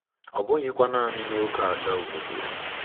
Ọ bụghịkwa naanị n'ókèala obodo.